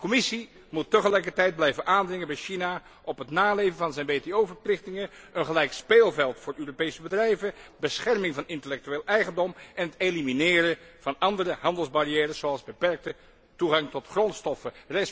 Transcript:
De Commissie moet tegelijkertijd blijven aandringen bij China op het naleven van zijn WTO verplichtingen, een gelijk speelveld voor Europese bedrijven, bescherming van intellectueel eigendom en het elimineren van andere handelsbarrières, zoals de beperkte toegang tot grondstoffen.